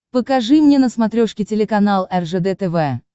покажи мне на смотрешке телеканал ржд тв